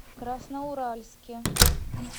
красноуральске